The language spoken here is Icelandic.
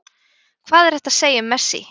Hvað er hægt að segja um Messi?